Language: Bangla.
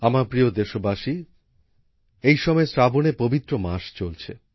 আমার প্রিয় দেশবাসী এই সময়ে শ্রাবণের পবিত্র মাস চলছে